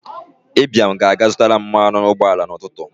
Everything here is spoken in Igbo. Ibiam ga-aga zụtaram mmanụ ụgbọ ala n'ụtụtụ.